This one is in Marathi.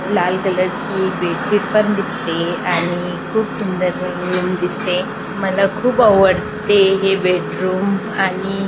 लाल कलर ची एक बेडशीट पण दिसते आणि खुप सुंदर र र रूम दिसते मला खुप आवडते हे बेडरूम आणि--